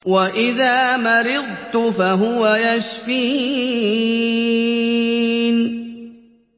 وَإِذَا مَرِضْتُ فَهُوَ يَشْفِينِ